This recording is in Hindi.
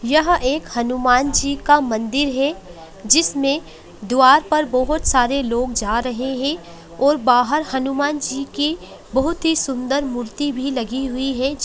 यह एक हनुमान जी का एक मंदिर है जिसमें द्वार पर बहोत सारे लोग जा रहे हैं और बाहर हनुमान जी की बहोत ही सुंदर मूर्ति भी लगी हुई है।